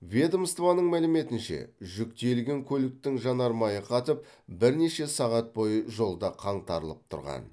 ведомствоның мәліметінше жүк тиелген көліктің жанармайы қатып бірнеше сағат бойы жолда қаңтарылып тұрған